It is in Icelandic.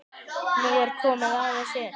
Nú er komið að þessu.